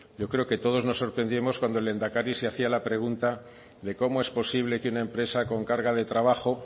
yo creo que todos nos sorprendíamos cuando el lehendakari se hacía la pregunta de cómo es posible que una empresa con carga de trabajo